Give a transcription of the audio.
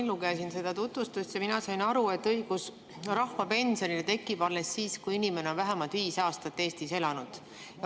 Ma lugesin seda tutvustust ja sain aru, et õigus rahvapensionile tekib alles siis, kui inimene on vähemalt viis aastat Eestis elanud.